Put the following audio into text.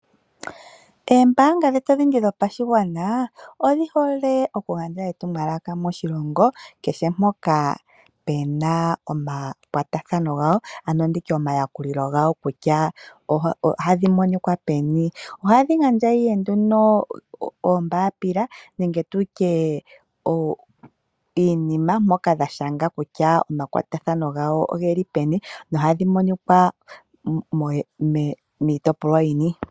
Oombanga dhetu odhindji dhopashigwana odhi hole oku gandja etumwalaka moshilongo kehe, mpoka pu na omakwatathano gawo ano nditye omayakulilo gawo kutya ohadhi monika peni. Ohadhi gandja ihe nduno oombambila nenge tutye iinima mpoka dha shanga kutya omakwatathano gawo oge li peni nohadhi monika miitopolwa yini.